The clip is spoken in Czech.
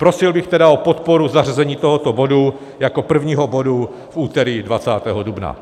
Prosil bych tedy o podporu zařazení tohoto bodu jako prvního bodu v úterý 20. dubna.